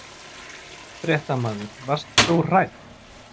Fréttamaður: Varst þú hrædd?